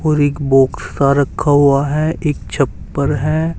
और एक बॉक्स का रखा हुआ है एक छप्पर है।